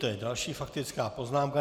To je další faktická poznámka.